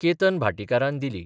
केतन भाटीकारान दिली.